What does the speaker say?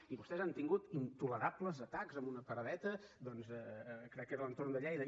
i vostès han tingut intolerables atacs en una paradeta doncs crec que era a l’entorn de lleida